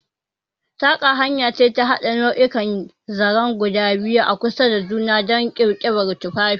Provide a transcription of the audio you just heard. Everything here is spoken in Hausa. Saƙa hanya ce ta haɗa nau'ikan zaren guda biyu a kusa da juna don ƙirƙirar tufafi.